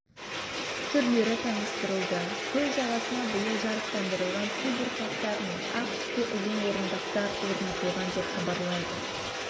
түрлері таныстырылды көл жағасына биыл жарықтандырылған субұрқақтар мен ақ түсті ұзын орындықтар орнатылған деп хабарлайды